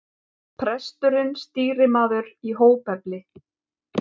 Presturinn stýrimaður í hópefli.